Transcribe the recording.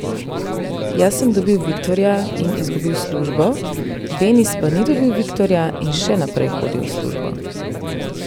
Jaz sem dobil viktorja in izgubil službo, Denis pa ni dobil viktorja in še naprej hodi v službo!